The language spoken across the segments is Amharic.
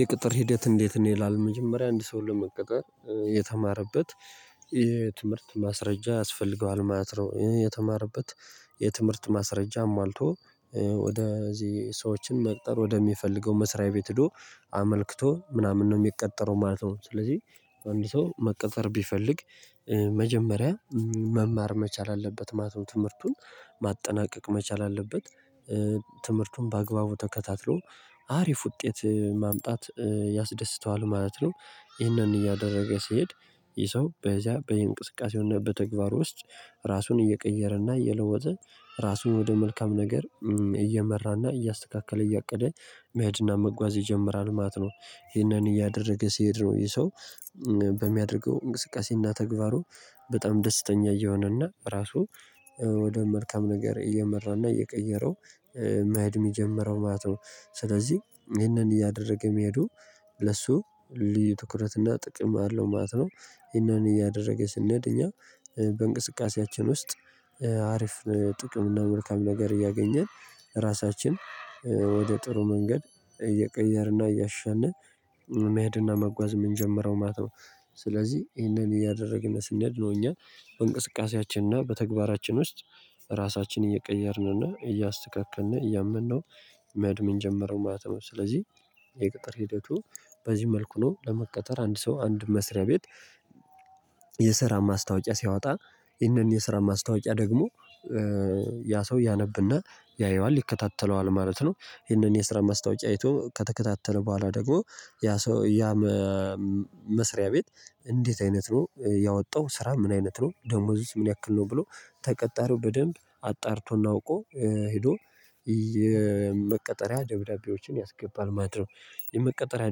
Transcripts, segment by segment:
የቅጥር ሂደት እንዴት ነው? ይላል መጀመሪያ አንድ ሰው ለመቀቀር የተማረበት የትምህርት ማስረጃ ያስፈልገዋል ማለት ነው። የተማረበት የትምህርት ማስረጃ አሟልቶ ወደ እዚህ ሰዎችን መቅጠር ወደሚፈልገው መስሪያ ቤት ሄዶ አመልክቶ ምናምን ነው የሚቀጠረው ማለት ነው። ስለዚህ አንድ ሰው መቀጠር ቢፈልግ መጀመሪያ መማር መቻል አለበት ማለት ትምህርቱን ማጠናቀቅ መቻል አለበት ትምህርቱን በአግባቡ ተከታትሎ አሪፍ ውጤት ማምጣት ያስደስተዋል ማለት ነው። ይህንን እያደረገ ሲሄድ ይህ ሰው በዚያ በየእንቅስቃሴው እና በተግባር ውስጥ ራሱን እየቀየረና እየለወጠ ራሱን ወደ መልካም ነገር እየመራና እያስተካከለ እያቀደ መሄድና መጓዝ ይጀምራል ማለት ነው። ይሄንን እያደረገ ሲሄድ ነው ይሄ ሰው በሚያደርገው እንቅስቃሴና ተግባሩ በጣም ደስተኛ እየሆነና ራሱ ወደ መልካም ነገር እየመራና እየቀየረው መሄድ የሚጀምረው ማለት ነው። ስለዚህ ይሄንን እያደረገ መሄዱ ለሱ ልዩ ትኩረት እና ጥቅም አለው ማለት ነው። ይሄንን እያደረገ ስንሄድ እኛ በእንቅስቃሴያችን ውስጥ አሪፍ ጥቅም እና መልካም ነገር እያገኘን ራሳችን ወደ ጥሩ መንገድ እየቀየርንና እያሸነፍን መሄድና መጓዝ የምንጀምረው ማለት ነው። ስለዚህ ይሄንን እያደረግን ስንሄድ ነው እኛ በእንቅስቃሴያችንና በተግባራችን ውስጥ ራሳችንን እየቀየርን እና እያስተካክልን እያመነው መሄድ የምንጀምረው ማለት ነው። ስለዚህ የቅጥር ሂደቱ በዚህ መልኩ ነው ለመቀጠር አንድ ሰው አንድ መስሪያ ቤት። የስራ ማስታወቂያ ሲያወጣ ይህንን የስራ ማስታወቂያ ደግሞ ያ ሰው ያነብና ያየዋል ይከታተለዋል ማለት ነው። ይሄንን የስራ ማስታወቂያ አይቶ ከተከታተለ በኋላ ደግሞ ያ ሰው ያ መስሪያ ቤት እንዴት አይነት ነው ያወጣው ስራ ምን አይነት ነው ደሞዙስ ምን ያክል ነው ብሎ ተቀጣሪው በደንብ አጣርቶና አውቆ ሄዶ የመቀጠሪያ ደብዳቤዎችን ያስገባል ማለት ነው። የመቀጠሪያ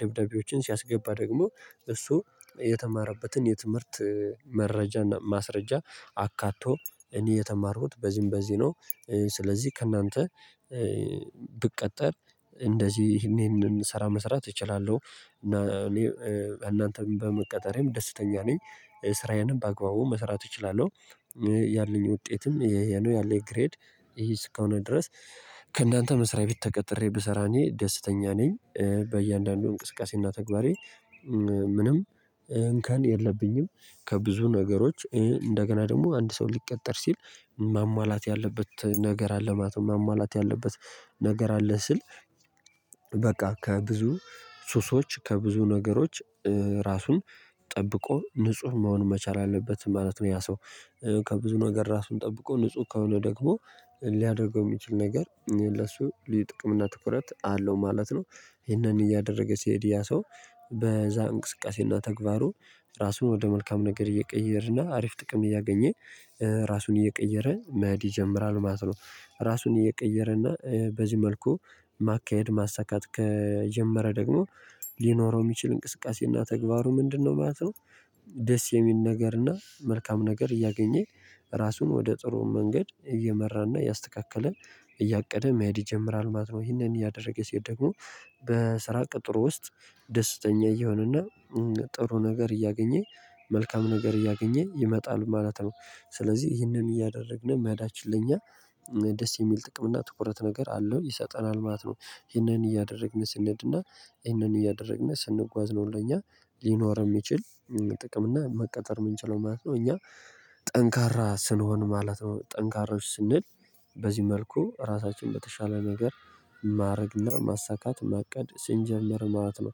ደብዳቤዎችን ሲያስገባ ደግሞ እሱ የተማረበትን የትምህርት መረጃና ማስረጃ አካቶ እኔ የተማርኩት በዚህም በዚህ ነው። ስለዚህ ከእናንተ ብቀጠር እንደዚህ ይሄንን ስራ መስራት እችላለሁ እና እኔ እናንተም በመቀጠሬም ደስተኛ ነኝ ስራዬንም በአግባቡ መስራት እችላለሁ። ያለኝ ውጤትም ይሄ ነው ያለኝ ግሬድ ይሄ እስከሆነ ድረስ ከእናንተ መስሪያ ቤት ተቀጥሬ ብሰራ እኔ ደስተኛ ነኝ። በእያንዳንዱ እንቅስቃሴና ተግባሬ ምንም እንከን የለብኝም ከብዙ ነገሮች እንደገና ደግሞ አንድ ሰው ሊቀጠር ሲል ማሟላት ያለበት ነገር አለ ማለት ነው። ማሟላት ያለበት ነገር አለ ስል በቃ ከብዙ ሱሶች ከብዙ ነገሮች ራሱን ጠብቆ ንጹህ መሆን መቻል አለበት ማለት ነው። ያ ሰው ከብዙ ነገር ራሱን ጠብቆ ንጹህ ከሆነ ደግሞ ሊያደርገው የሚችል ነገር ለሱ ልዩ ጥቅም እና ትኩረት አለው ማለት ነው። ይሄንን እያደረገ ሲሄድ ያ ሰው በዛ እንቅስቃሴና ተግባሩ ራሱን ወደ መልካም ነገር እየቀየርና አሪፍ ጥቅም እያገኘ ራሱን እየቀየረ መሄድ ይጀምራል ማለት ነው። ራሱን እየቀየረ እና በዚህ መልኩ ማካሄድ ማሳካት ከጀመረ ደግሞ ሊኖረው የሚችል እንቅስቃሴና ተግባሩ ምንድነው ማለት ነው? ደስ የሚል ነገርና መልካም ነገር እያገኘኝ ራሱን ወደ ጥሩ መንገድ እየመራና እያስተካከለ እያቀደ መሄድ ይጀምራል ማለት ነው። ይሄንን እያደረገ ሲሄድ ደግሞ በስራ ቅጥሩ ውስጥ ደስተኛ እየሆነና ጥሩ ነገር እያገኘ መልካም ነገር እያገኘ ይመጣል ማለት ነው። ስለዚህ ይህንን እያደረግን መሄዳችን ለኛ ደስ የሚል ጥቅም እና ትኩረት ነገር አለው ይሰጠናል ማለት ነው። ይሄንን እያደረግን ስንሄድና ይሄንን እያደረግን ስንጓዝ ነው ለኛ ሊኖር የሚችል ጥቅም እና መቀጠር የምንችለው ማለት ነው። እኛ ጠንካራ ስንሆን ማለት ነው ጠንካራዎች ስንል በዚህ መልኩ ራሳችን በተሻለ ነገር ማድረግና ማሳካት ማቀድ ስንጀምር ማለት ነው።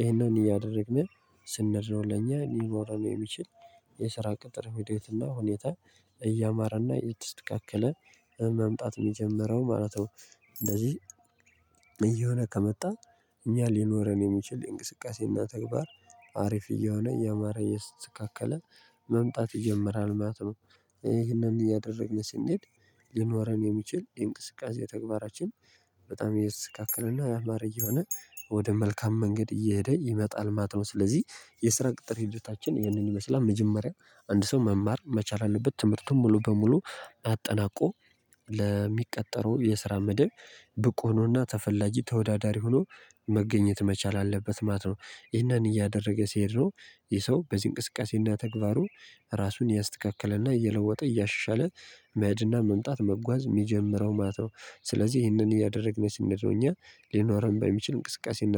ይሄንን እያደረግን ስንሄድ ነው ለኛ ሊኖረን የሚችል የስራ ቅጥር ህይወትና ሁኔታ እያማረና እየተስደካከለ መምጣት የጀመረው ማለት ነው። እንደዚህ እየሆነ ከመጣ እኛ ሊኖረን የሚችል የእንቅስቃሴና ተግባር አሪፍ እየሆነ እያማረ እየተስተካከለ መምጣት ይጀምራል ማለት ነው። ይሄንን እያደረግን ስንሄድ ሊኖረን የሚችል የእንቅስቃሴ ተግባራችን በጣም እየተስተካከለና ያማረ እየሆነ ወደ መልካም መንገድ እየሄደ ይመጣል ማለት ነው። ስለዚህ የስራ ቅጥር ሂደታችን ይህንን ይመስላል። መጀመሪያ አንድ ሰው መማር መቻል አለበት ትምህርቱን ሙሉ በሙሉ አጠናቆ ለሚቀጠረው የስራ መደብ ብቁ ሆኖና ተፈላጊ ተወዳዳሪ ሆኖ መገኘት መቻል አለበት ማለት ነው። ይህንን እያደረገ ሲሄድ ነው። ይህ ሰው በዚህ እንቅስቃሴና ተግባሩ ራሱን እያስተካክለና እየለወጠ እያሻሻለ መሄድና መምጣት መጓዝ የሚጀምረው ማለት ነው። ስለዚህ ይህንን እያደረግን ስንለው እኛ ሊኖረን በሚችል እንቅስቃሴና